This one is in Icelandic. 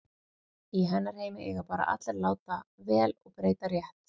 Í hennar heimi eiga bara allir að láta vel og breyta rétt.